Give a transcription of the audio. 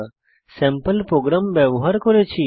sample program ব্যবহার করেছি